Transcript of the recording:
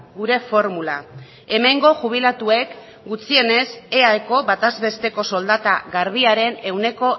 gure formula hemengo jubilatuek gutxienez eaeko bataz besteko soldata garbiaren ehuneko